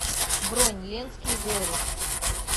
бронь ленские зори